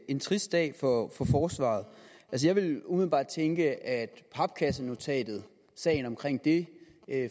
en trist dag for for forsvaret jeg ville umiddelbart tænke at papkassenotatet sagen omkring det